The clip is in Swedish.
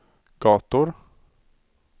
gator